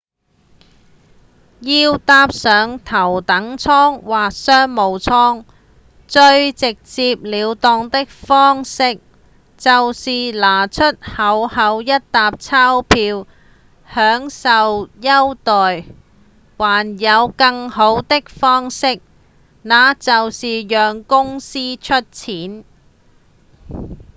要搭上頭等艙或商務艙最直接了當的方式就是拿出厚厚一疊鈔票享受優待還有更好的方式那就是讓公司出錢